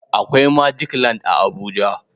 Akwai "magic land" a Abuja